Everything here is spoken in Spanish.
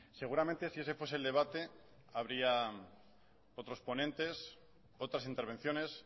seguramente si ese fuese el debate habría otros ponentes otras intervenciones